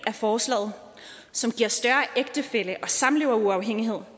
af forslaget som giver større ægtefælle og samleveruafhængighed